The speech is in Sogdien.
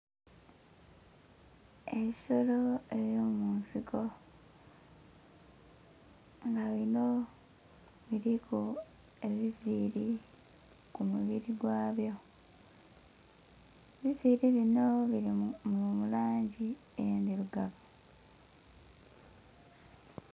Ensolo ey'omunsiko nga bino biliku ebiviili ku mubiri gwabyo, ebiviili bino bili mu langi endhirugavu.